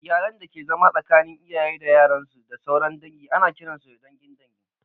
Iyalan dake zama tsakanin iyaye da yaran su, da sauran dangi, ana kiran su da dangin dangin